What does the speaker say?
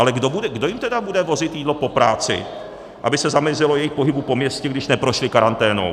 Ale kdo jim tedy bude vozit jídlo po práci, aby se zamezilo jejich pohybu po městě, když neprošli karanténou?